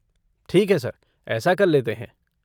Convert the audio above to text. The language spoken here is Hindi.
ठीक है सर, ऐसा कर लेते हैं।